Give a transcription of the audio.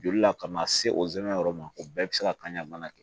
Joli la ka na se o yɔrɔ ma o bɛɛ bɛ se ka kan ka mana kɛ